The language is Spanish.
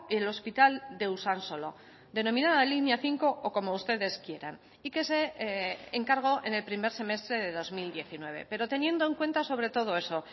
el hospital de usansolo denominada línea cinco o como ustedes quieran y que se encargó en el primer semestre de dos mil diecinueve pero teniendo en cuenta sobre todo eso